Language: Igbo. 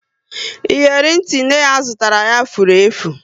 Iyeri ntị nne ya zụtara ya, furu efu